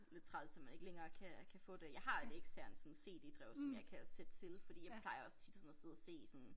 Lidt træls at man ikke længere kan kan få det jeg har et eksternt sådan cd-drev som jeg kan sætte til fordi jeg plejer også tit og sådan noget sidde og se sådan